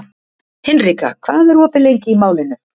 Hinrika, hvað er opið lengi í Málinu?